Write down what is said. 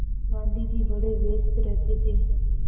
गाँधी जी बड़े व्यस्त रहते थे